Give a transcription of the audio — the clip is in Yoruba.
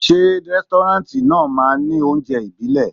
Ṣé rẹ́stọ́ráǹtì náà máa ní oúnjẹ ibile?